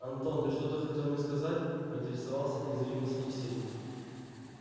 антон ты что-то хотел мне сказать поинтересовался незримый собеседник